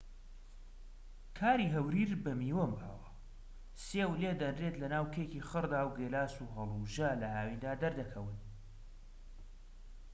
کاری هەوریر بە میوە باوە سێو لێدەنرێت لەناو کێکی خڕدا و گێلاس و هەڵوژە لە هاویندا دەردەکەون